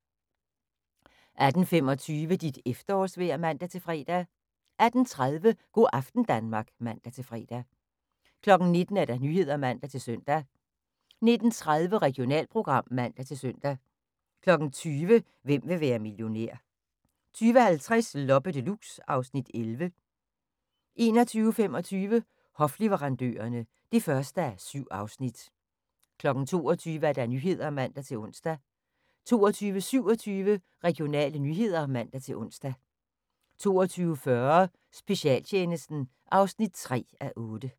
18:25: Dit efterårsvejr (man-fre) 18:30: Go' aften Danmark (man-fre) 19:00: Nyhederne (man-søn) 19:30: Regionalprogram (man-søn) 20:00: Hvem vil være millionær? 20:50: Loppe Deluxe (Afs. 11) 21:25: Hofleverandørerne (1:7) 22:00: Nyhederne (man-ons) 22:27: Regionale nyheder (man-ons) 22:40: Specialtjenesten (3:8)